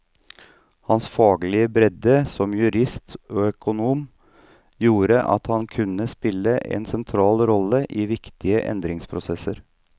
Hans faglige bredde som jurist og økonom gjorde at han kunne spille en sentral rolle i viktige endringsprosesser.